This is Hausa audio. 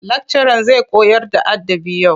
Lakcaran zai koyarda adabı yau.